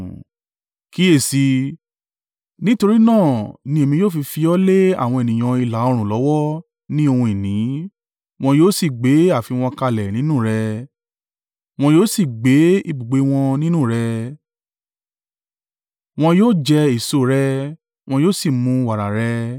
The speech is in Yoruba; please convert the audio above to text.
kíyèsi i, nítorí náà ni èmi yóò fi fi ọ lé àwọn ènìyàn ìlà-oòrùn lọ́wọ́ ni ohun ìní. Wọn yóò sì gbé ààfin wọn kalẹ̀ nínú rẹ, wọn yóò sì gbé ibùgbé wọn nínú rẹ, wọn yóò jẹ èso rẹ, wọn yóò sì mu wàrà rẹ.